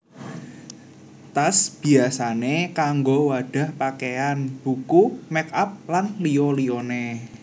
Tas biyasané kanggo wadhah pakéyan buku make up lan liya liyané